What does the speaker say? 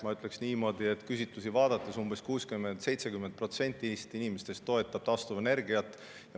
Ma ütleks küsitlusi vaadates niimoodi, et umbes 60–70% inimestest toetab taastuvenergiat.